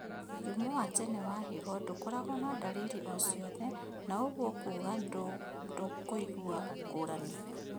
Mũrimũ wa tene wa higo ndũkoragwo na ndariri ociothe, na ũguo kuga ndũkũigua ngũrani